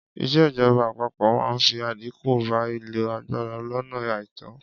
Ìṣèjọba àpapọ máa fi àdínkù bá ìlò agbára lónà àìtó.